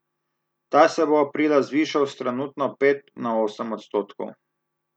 Ta se bo aprila zvišal s trenutno pet na osem odstotkov.